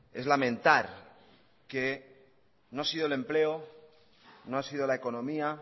es lamentar que no ha sido el empleo no ha sido la economía